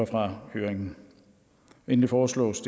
fra høringen endelig foreslås